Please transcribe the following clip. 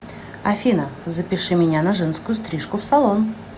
афина запиши меня на женскую стрижку в салон